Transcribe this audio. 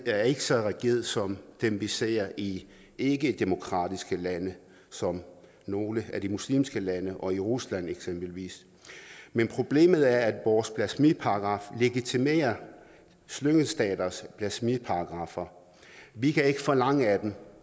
er ikke så rigid som dem vi ser i ikkedemokratiske lande som nogle af de muslimske lande og i rusland eksempelvis men problemet er at vores blasfemiparagraf legitimerer slyngelstaters blasfemiparagraffer vi kan ikke forlange af dem